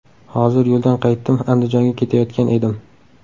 Hozir yo‘ldan qaytdim, Andijonga ketayotgan edim.